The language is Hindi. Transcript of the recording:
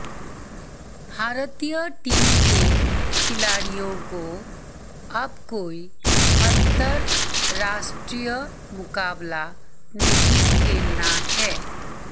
भारतीय टीम के खिलाड़ियों को अब कोई अंतरराष्ट्रीय मुकाबला नहीं खेलना है